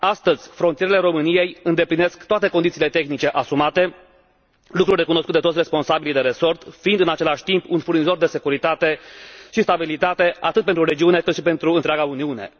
Astăzi, frontierele României îndeplinesc toate condițiile tehnice asumate, lucru recunoscut de toți responsabilii de resort, fiind în același timp un furnizor de securitate și stabilitate, atât pentru regiune, cât și pentru întreaga Uniune.